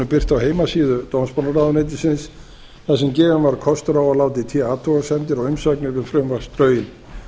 birt á heimasíðu dómsmálaráðuneytisins þar sem gefinn var kostur á að láta í té athugasemdir og umsagnir um frumvarpsdrögin